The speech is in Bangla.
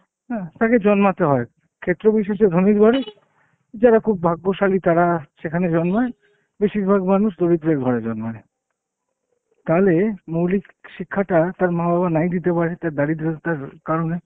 হুম তাকে জন্মাতে হয়। ক্ষেত্রবিশেষে ধনীর ঘরে, যারা খুব ভাগ্যশালী তারা সেখানে জন্মায়, বেশিরভাগ মানুষ দরিদ্রের ঘরে জন্মায়। তাহলে মৌলিক শিক্ষাটা তার মা বাবা নাই দিতে পারে তার দারিদ্রতার কারণে।